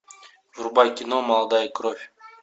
врубай кино молодая кровь